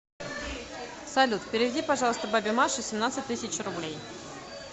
салют переведи пожалуйста бабе маше семнадцать тысяч рублей